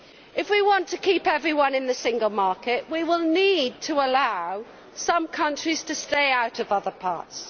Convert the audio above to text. If we want to keep everyone in the single market, we will need to allow some countries to stay out of other parts.